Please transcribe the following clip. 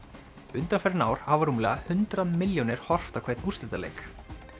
undanfarin ár hafa rúmlega hundrað milljónir horft á hvern úrslitaleik